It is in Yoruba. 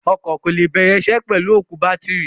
Ọkọ̀ kò lè bẹ̀rẹ̀ isẹ́ pẹ̀lú òkú bátìrì.